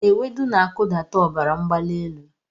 Ewedu na-akụdata ọbara mgbali elu.